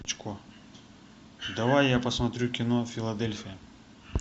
давай я посмотрю кино филадельфия